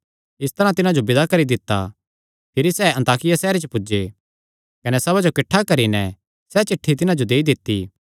इस तरांह तिन्हां जो विदा करी दित्ता भिरी सैह़ अन्ताकिया सैहरे च पुज्जे कने सभा जो किठ्ठा करी नैं सैह़ चिठ्ठी तिन्हां जो देई दित्ती